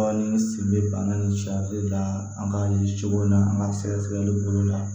Ni n sen bɛ bana nin la an ka ye cogo min na an ka sɛgɛsɛgɛli bolo la